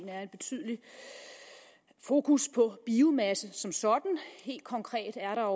er en betydelig fokus på biomasse som sådan helt konkret er